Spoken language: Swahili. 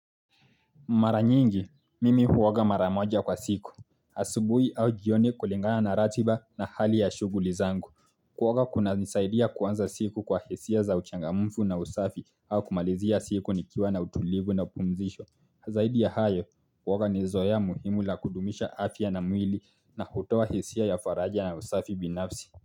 Mara nyingi, mimi huoga mara moja kwa siku. Asubuhi au jioni kulingana na ratiba na hali ya shughuli zangu. Kuoga kuna nisaidia kuanza siku kwa hisia za uchangamufu na usafi au kumalizia siku nikiwa na utulivu na pumzisho. Zaidi ya hayo, kuoga ni zoea muhimu la kudumisha afya na mwili na hutowa hisia ya faraja na usafi binafsi.